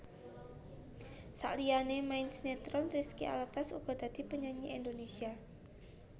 Saliyané main sinetron Rizky Alatas uga dadi penyanyi Indonesia